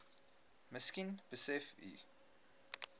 miskien besef u